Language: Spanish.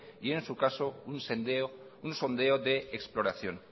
y en su caso un sondeo de exploración